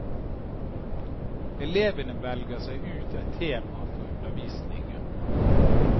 Elevene velger seg ut et tema for undervisningen.